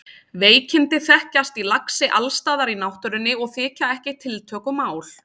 Veikindi þekkjast í laxi alls staðar í náttúrunni og þykja ekki tiltökumál.